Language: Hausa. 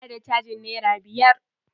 Zan ba da cajin nera biyar.